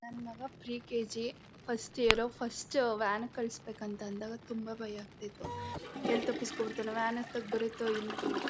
ನನ್ ಮಗ pre KG first year first van ಗ್ ಕಲ್ಸ್ಬೇಕು ಅಂತ ಅಂದಾಗ ತುಂಬಾ ಭಯ ಆಗ್ತಾ ಇತ್ತು ಎಲ್ ತಪುಸ್ಕೊಂಡ್ ಬಿಡ್ತಾನೋ ವ್ಯಾನ್ ಹತ್ತಕ್ ಬರತ್ತೋ ಇಲ್ವೋ